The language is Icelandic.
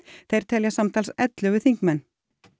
þeir telja samtals ellefu þingmenn